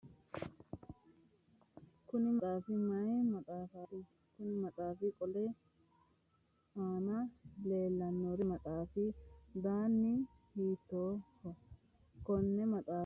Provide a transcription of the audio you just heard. Kunni maxaafi mayi maxaafaati? Konni maxaafi qooli aanna leelanori maati? Konni maxaafi danni hiittooho? Konne maxaafa hiiko horoonsi'nannihoro xawise kuli?